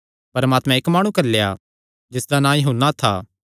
परमात्मैं इक्क माणु घल्लेया जिसदा नां यूहन्ना था